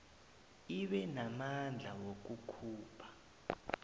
ibe namandla wokukhupha